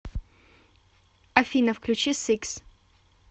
афина включи сикс